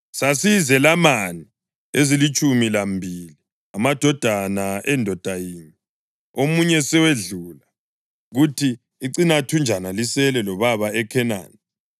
Sasiyizelamani ezilitshumi lambili, amadodana endoda yinye. Omunye sowedlula, kuthi icinathunjana lisele lobaba eKhenani.’